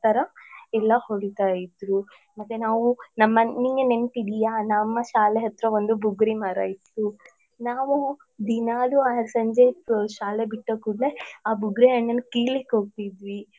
ಆತರ ಎಲ್ಲ ಹೊಡಿತಾ ಇದ್ರು ಮತ್ತೆ ನಾವು ನಮನ್ ನಿಮ್ಗೆ ನೆನ್ಪಿದ್ಯಾ ನಮ್ಮ ಶಾಲೆ ಹತ್ರ ಒಂದ್ ಬುಗುರಿ ಮರ ಇತ್ತು ನಾವು ದಿನಾಲೂ ಅ ಸಂಜೆ ಶಾಲೆ ಬಿಟ್ಟ ಕುಡ್ಲೆ ಅ ಬುಗ್ರಿ ಹಣ್ಣನ್ ಕೀಲಿಕ್ಕ್ ಹೋಗ್ತಿದ್ವಿ.